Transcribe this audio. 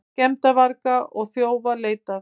Skemmdarvarga og þjófa leitað